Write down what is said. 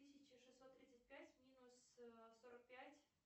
тысяча шестьсот тридцать пять минус сорок пять